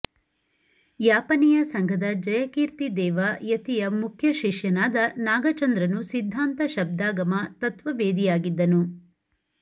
ಯಾಪನೀಯ ಸಂಘದ ಜಯಕೀರ್ತಿದೇವ ಯತಿಯ ಮುಖ್ಯ ಶಿಷ್ಯನಾದ ನಾಗಚಂದ್ರನು ಸಿದ್ಧಾಂತ ಶಬ್ದಾಗಮ ತತ್ವವೇದಿಯಾಗಿದ್ದನು